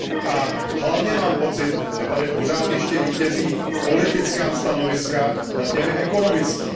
A hlavně mám pocit, že tady pořád ještě vítězí politická stanoviska nad těmi ekonomickými.